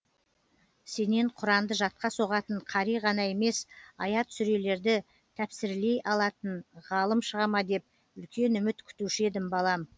сенен құранды жатқа соғатын қари ғана емес аят сүрелерді тәпсірлей алатын ғалым шыға ма деп үлкен үміт күтуші едім балам